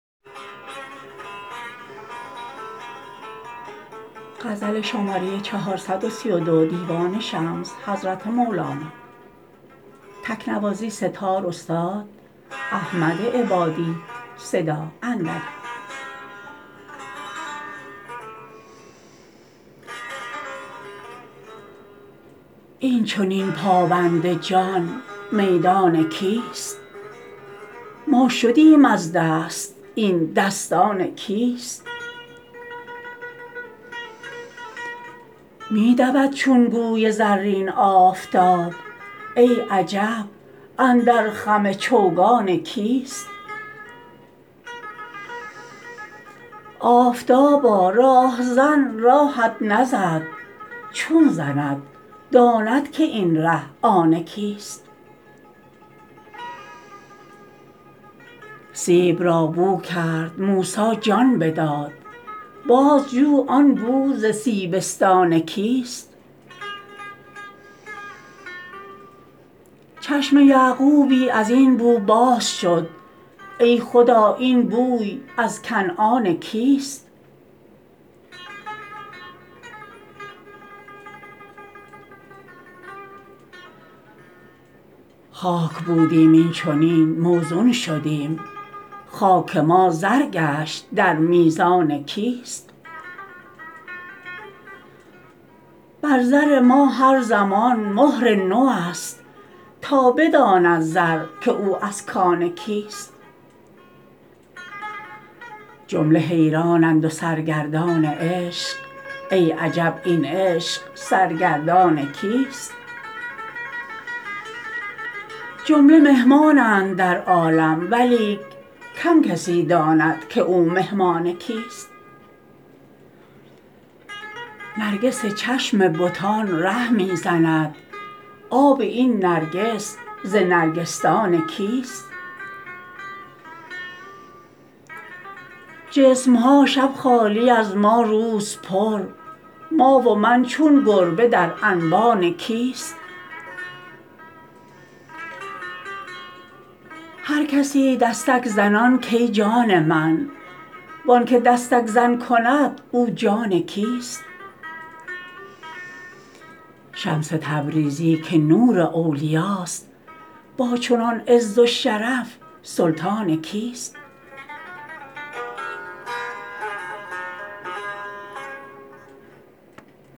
این چنین پابند جان میدان کیست ما شدیم از دست این دستان کیست می دود چون گوی زرین آفتاب ای عجب اندر خم چوگان کیست آفتابا راه زن راهت نزد چون زند داند که این ره آن کیست سیب را بو کرد موسی جان بداد بازجو آن بو ز سیبستان کیست چشم یعقوبی از این بو باز شد ای خدا این بوی از کنعان کیست خاک بودیم این چنین موزون شدیم خاک ما زر گشت در میزان کیست بر زر ما هر زمان مهر نوست تا بداند زر که او از کان کیست جمله حیرانند و سرگردان عشق ای عجب این عشق سرگردان کیست جمله مهمانند در عالم ولیک کم کسی داند که او مهمان کیست نرگس چشم بتان ره می زند آب این نرگس ز نرگسدان کیست جسم ها شب خالی از ما روز پر ما و من چون گربه در انبان کیست هر کسی دستک زنان کای جان من و آنک دستک زن کند او جان کیست شمس تبریزی که نور اولیاست با چنان عز و شرف سلطان کیست